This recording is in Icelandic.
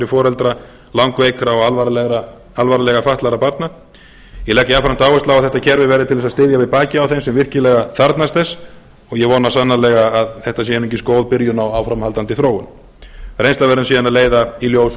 foreldra langveikra og alvarlega fatlaðra barna ég legg jafnframt áherslu á að þetta kerfi verði til þess að styðja við bakið á þeim sem virkilega þarfnast þess og ég vona sannarlega að þetta sé einungis góð byrjun á áframhaldandi þróun reynslan verður síðan að leiða í ljós